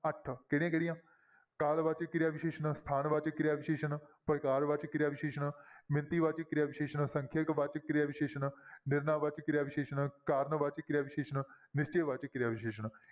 ਕਿਹੜੀਆਂ ਕਿਹੜੀਆਂ ਕਾਲ ਵਾਚਕ ਕਿਰਿਆ ਵਿਸ਼ੇਸ਼ਣ, ਸਥਾਨ ਵਾਚਕ ਕਿਰਿਆ ਵਿਸ਼ੇਸ਼ਣ, ਪ੍ਰਕਾਰ ਵਾਚਕ ਕਿਰਿਆ ਵਿਸ਼ੇਸ਼ਣ ਮਿੱਤੀ ਵਾਚਕ ਕਿਰਿਆ ਵਿਸ਼ੇਸ਼ਣ ਸੰਖਿਅਕ ਵਾਚਕ ਕਿਰਿਆ ਵਿਸ਼ੇਸ਼ਣ ਨਿਰਣਾ ਵਾਚਕ ਕਿਰਿਆ ਵਿਸ਼ੇਸ਼ਣ, ਕਾਰਨ ਵਾਚਕ ਕਿਰਿਆ ਵਿਸ਼ੇਸ਼ਣ, ਨਿਸ਼ਚੈ ਵਾਚਕ ਕਿਰਿਆ ਵਿਸ਼ੇਸ਼ਣ।